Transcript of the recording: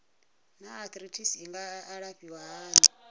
naa arthritis i nga alafhiwa hani